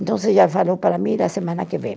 Então você já falou para mim da semana que vem.